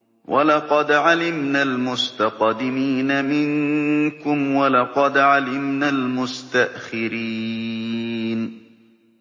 وَلَقَدْ عَلِمْنَا الْمُسْتَقْدِمِينَ مِنكُمْ وَلَقَدْ عَلِمْنَا الْمُسْتَأْخِرِينَ